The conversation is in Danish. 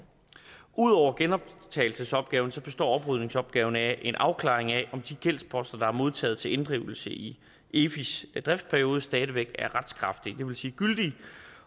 ud over genoptagelsesopgaven består oprydningsopgaven af en afklaring af om de gældsposter der er modtaget til inddrivelse i efis driftsperiode stadig væk er retskraftige det vil sige gyldige